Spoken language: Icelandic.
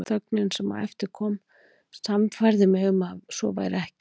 Þögnin sem á eftir kom sannfærði mig um að svo væri.